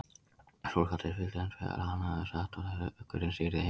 Sókrates vildi hins vegar að hann hefði sagt að hugurinn stýrði heiminum.